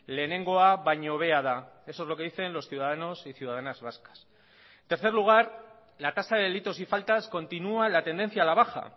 lehenengoa baino hobea da eso es lo que dicen los ciudadanos y ciudadanas vascas tercer lugar la tasa de delitos y faltas continúa la tendencia a la baja